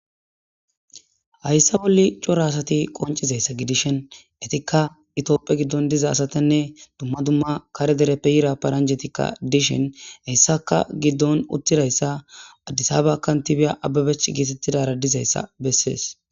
Hayssa bolli cora asathi qonccizayssa gidishen ethikka itoophphe giddon diza asathanne dumma dumma kare dereppe yira paranjjetikka dishin heyssakka giddon uththidayssa addisaaba kanththibiya ababech geeteththidaara dizayssa bessees.